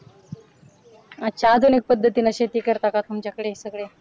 अच्छा आधुनिक पद्धतीने शेती करता का तुमच्याकडे सगळे